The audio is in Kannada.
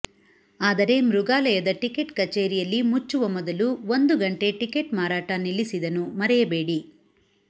ಆದರೆ ಮೃಗಾಲಯದ ಟಿಕೆಟ್ ಕಚೇರಿಯಲ್ಲಿ ಮುಚ್ಚುವ ಮೊದಲು ಒಂದು ಗಂಟೆ ಟಿಕೆಟ್ ಮಾರಾಟ ನಿಲ್ಲಿಸಿದನು ಮರೆಯಬೇಡಿ